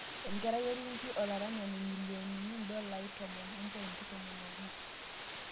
enkerai orkingi olaranyani, milionini $10.11